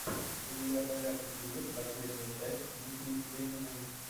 у тебя в загашнике есть последняя часть ники лениной